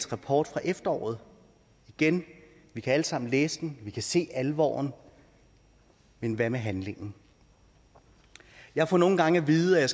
rapport fra efteråret igen vi kan alle sammen læse den vi kan se alvoren men hvad med handlingen jeg får nogle gange at vide at